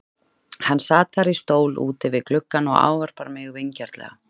Hann sat þar í stól úti við gluggann og ávarpar mig vingjarnlega.